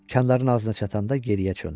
Künclərinə çatanda geriyə döndü.